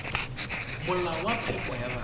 molao wa phepo ya bana